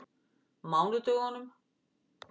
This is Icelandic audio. mánudögunum